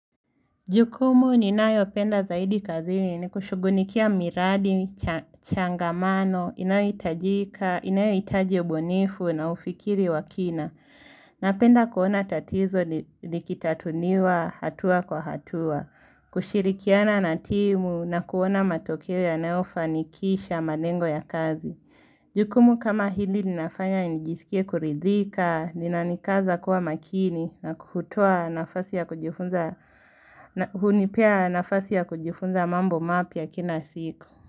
Jukumu ninayopenda zaidi kazini ni kushughulikia miradi, changamano, inayohitajika, inayohitaji ubunifu na ufikiri wa kina. Napenda kuona tatizo likitatuliwa hatua kwa hatua, kushirikiana na timu na kuona matokeo yanayofanikisha, malengo ya kazi. Jukumu kama hili ninafanya nijisikie kuridhika, linanikaza kuwa makini na kutoa nafasi ya kujifunza mambo mapya kila siku.